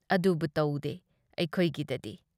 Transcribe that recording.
ꯑꯗꯨꯕꯨ ꯇꯧꯗꯦ ꯑꯩꯈꯣꯏꯒꯤꯗꯗꯤ꯫